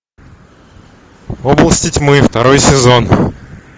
области тьмы второй сезон